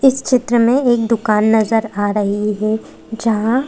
इस चित्र में एक दुकान नजर आ रही है जहां--